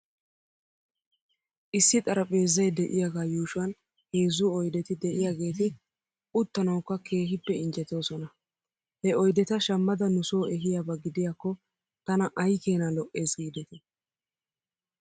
Issi xarpheezzay de'iyaagaa yuuushwan heezzu oydeti de'iyaageeti uttanawkka keehippe injjetoosona. He oydeta shammada nusoo ehiyaaba gidiyaakko tana aykeenaa lo'es giidetii